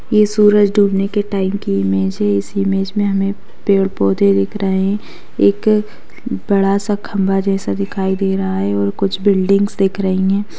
ये सूरज डूबने के टाइम की इमेज है इस इमेज में हमें पेड़-पौधे दिख रहें हैं एक बड़ा सा खंभा जैसा दिखाई दे रहा है और कुछ बिल्डिंग्स दिख रही हैं।